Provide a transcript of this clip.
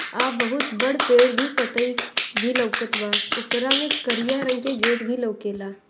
आ बोहोत बड पेड़ भी पतई भी लोकत बा ओकरा मे करिया रंग के गेट भी लोकेला ।